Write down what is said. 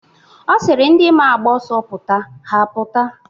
Ọ sịrị ndi maa agba ọsọ pụta, ha apụta.